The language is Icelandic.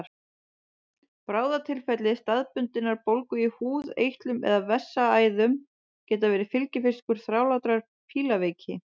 Bráðatilfelli staðbundinnar bólgu í húð, eitlum eða vessaæðum geta verið fylgifiskur þrálátrar fílaveiki.